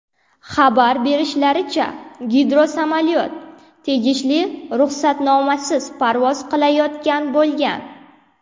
Xabar berishlaricha, gidrosamolyot tegishli ruxsatnomasiz parvoz qilayotgan bo‘lgan.